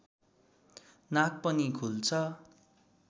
नाक पनि खुल्छ